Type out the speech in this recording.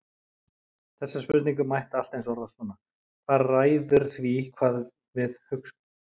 Þessa spurningu mætti allt eins orða svona: Hvað ræður því hvað við við hugsum?